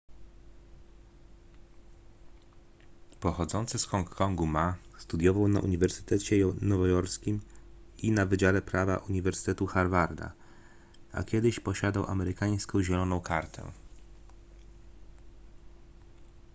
pochodzący z hongkongu ma studiował na uniwersytecie nowojorskim i na wydziale prawa uniwersytetu harvarda a kiedyś posiadał amerykańską zieloną kartę